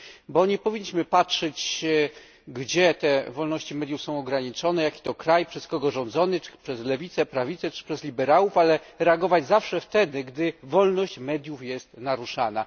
Bo nie powinniśmy patrzeć, gdzie te wolności mediów są ograniczone, jaki to kraj, przez kogo rządzony przez lewicę, prawicę czy przez liberałów ale reagować zawsze wtedy, gdy wolność mediów jest naruszana.